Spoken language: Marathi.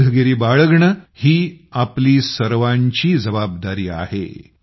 सावधगिरी बाळगणेही आपली सर्वांची जबाबदारीआहे